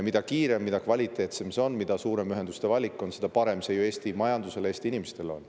Mida kiiremini, mida kvaliteetsemalt on seda võimalik teha, mida suurem on ühenduste valik, seda parem on see ju Eesti majandusele, Eesti inimestele.